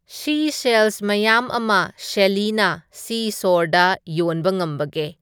ꯁꯤꯁꯦꯜꯁ ꯃꯌꯥꯝ ꯑꯃ ꯁꯦꯜꯂꯤꯅ ꯁꯤꯁꯣꯔꯗ ꯌꯣꯟꯕ ꯉꯝꯕꯒꯦ